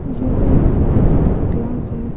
जो एक dance class है।